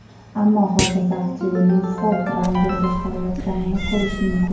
Ammo hozirda aktyorning Ford Ranger boshqarayotganini ko‘rish mumkin.